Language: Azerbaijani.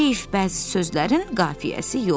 Heyf bəzi sözlərin qafiyəsi yoxdur.